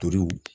Torow